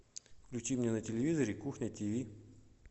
включи мне на телевизоре кухня тв